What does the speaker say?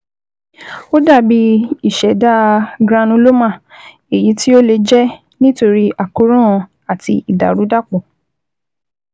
Ó dàbí ìṣẹ̀dá granuloma, èyí tí ó lè jẹ́ nítorí àkóràn àti ìdàrúdàpò